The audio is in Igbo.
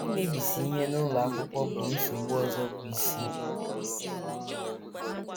Imebisi ihe n’ụlọ akwụkwọ bụ nsogbu ọzọ bụ́ isi. ”